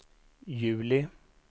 juli